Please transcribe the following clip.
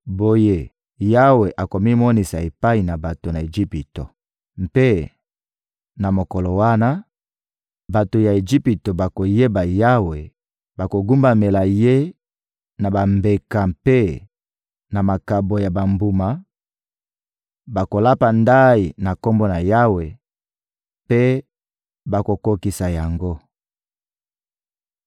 Boye, Yawe akomimonisa epai na bato ya Ejipito. Mpe na mokolo wana, bato ya Ejipito bakoyeba Yawe, bakogumbamela Ye na bambeka mpe na makabo ya bambuma; bakolapa ndayi na Kombo na Yawe mpe bakokokisa yango.